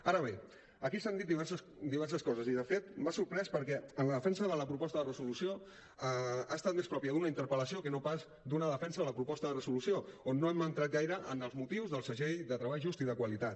ara bé aquí s’han dit diverses coses i de fet m’ha sorprès perquè la defensa de la proposta de resolució ha estat més pròpia d’una interpel·lació que no pas d’una defensa de la proposta de resolució on no hem entrat gaire en els motius del segell de treball just i de qualitat